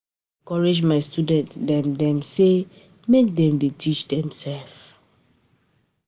I dey encourage my student dem dem sey make dem dey teach demsef.